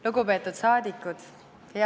Lugupeetud saadikud!